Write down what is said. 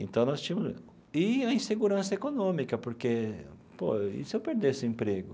Então nós tínhamos e a insegurança econômica, porque, pô, e se eu perdesse o emprego?